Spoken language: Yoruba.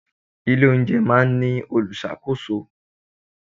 Ilé oúnjẹ máa ń ní olùṣàkóso.